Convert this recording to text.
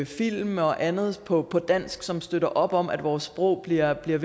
film og andet på på dansk som støtter op om at vores sprog bliver ved